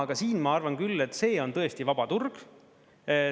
Aga siin ma arvan küll, et see on tõesti vaba turg.